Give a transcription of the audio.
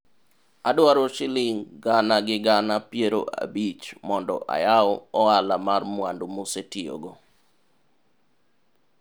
Adwaro shilingi gana gi gana piero abich mondo ayab ohala mar mwandu mosetiyogo